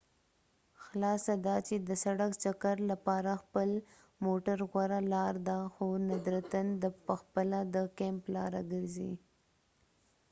خلاصه دا چې د سړک چکر لپاره خپل موټر غوره لار ده خو ندرتاً دا پخپله د کیمپ لاره ګرځي